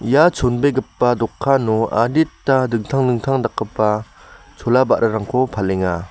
ia chonbegipa dokano adita dingtang dingtang dakgipa chola ba·rarangko palenga.